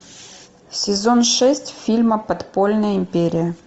сезон шесть фильма подпольная империя